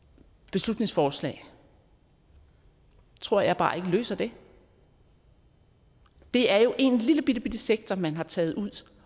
beslutningsforslag tror jeg bare ikke løser det det er jo en lillebittebitte sektor man har taget ud